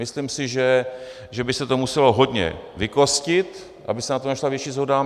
Myslím si, že by se to muselo hodně vykostit, aby se na tom našla větší shoda.